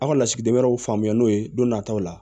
Aw ka lasigiden wɛrɛw faamuya n'o ye don nataw la